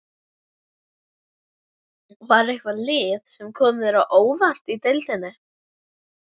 Var eitthvað lið sem kom þér á óvart í deildinni?